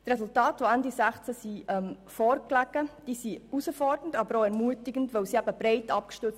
Die Resultate, die Ende 2016 vorlagen, sind herausfordernd, aber auch ermutigend und breit abgestützt.